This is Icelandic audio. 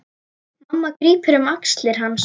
Mamma grípur um axlir hans.